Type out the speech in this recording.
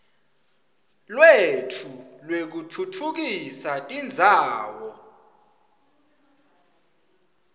lwetfu lwekutfutfukisa tindzawo